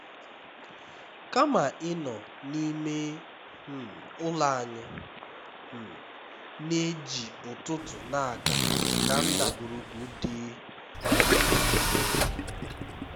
kama ịnọ n'ime um ụlọ anyị um na-eji ụtụtụ na-aga na ndagwurugwu dị um jụụ